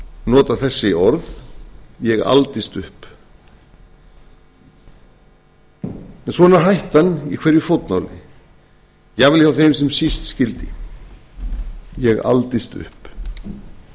nota þessi orð ég aldist upp en svona er hættan í hverju fótmáli jafnvel hjá þeim sem síst skyldi ég aldist upp það